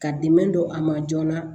Ka dɛmɛ don a ma joona